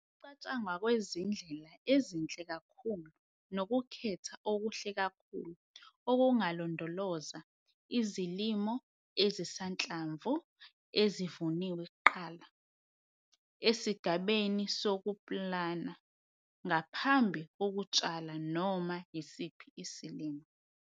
Ukucatshangwa kwezindlela ezinhle kakhulu nokukhetha okuhle kakhulu okungalondoloza izilimo ezisanhlamvu ezivuniwe kuqala esigabeni sokupulana ngaphambi kokutshala noma yisiphi isilimo.